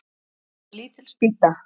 Það var lítil spýta.